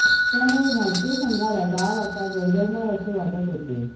त्यामुळे भारतीय संघाला डाव आता गडगडणार असे वाटत होते